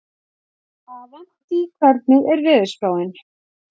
Avantí, hvernig er veðurspáin?